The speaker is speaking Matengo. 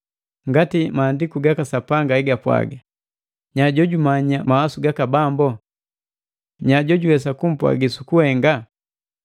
Ngati maandiku gaka Sapanga hegapwaga, “Nya jojumanya mawasu gaka Bambu? Nya jojuwesa kumpwagi sukuhenga?